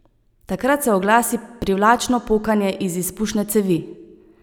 Takrat se oglasi privlačno pokanje iz izpušne cevi.